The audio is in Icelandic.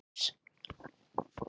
Lítum til suðurs.